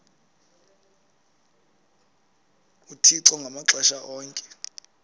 uthixo ngamaxesha onke